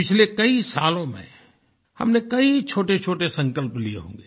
पिछले कई सालो में हमने कई छोटेछोटे संकल्प लिये होंगे